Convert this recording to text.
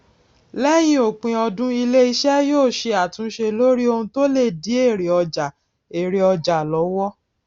léyìn òpin ọdún ilé iṣé yóò ṣe àtúnṣe lórí ohun tó lè dí èrè ọjà èrè ọjà lówó